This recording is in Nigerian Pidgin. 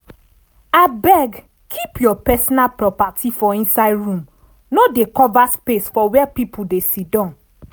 abeg keep your personal properti for inside room no dey cover space for where pipul dey siddan